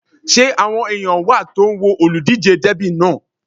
Ṣé àwọn èèyàn wà tó ń wo olùdíjé dẹ́bì náà?